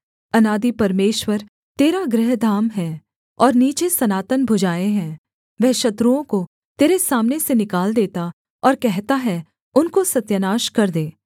अनादि परमेश्वर तेरा गृहधाम है और नीचे सनातन भुजाएँ हैं वह शत्रुओं को तेरे सामने से निकाल देता और कहता है उनको सत्यानाश कर दे